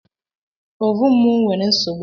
Ovun mu nwere nsogbụ